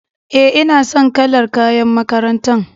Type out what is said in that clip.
E, ina son kalar kayan makarantar.